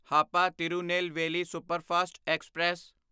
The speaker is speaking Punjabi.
Hapa Tirunelveli superfast express